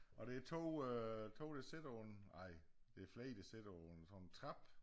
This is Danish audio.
Og det 2 øh 2 der sidder på en ej det flere der sidder på en sådan trappe